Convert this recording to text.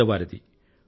పేదవారిది